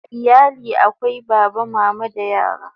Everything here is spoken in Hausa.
A iyali akwai Baba, Mama da yara